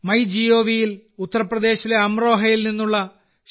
my gov ൽ ഉത്തർപ്രദേശിലെ അംറോഹയിൽ നിന്നുള്ള ശ്രീ